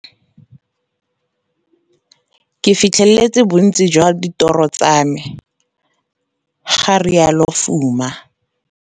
Ke fitlheletse bontsi jwa ditoro tsa me, ga rialo Fuma.